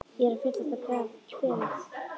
Ég er að fyllast af kvefi.